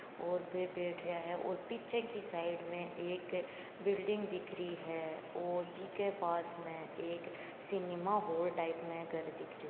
और बे बैठ रिया है और पीछे की साइड में एक बिल्डिग दिख रही है और बीके पास में एक सिनेमा हॉल टाइप में घर दिख रहियो --